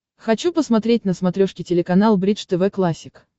хочу посмотреть на смотрешке телеканал бридж тв классик